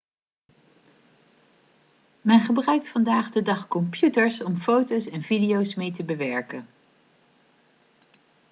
men gebruikt vandaag de dag computers om foto's en video's mee te bewerken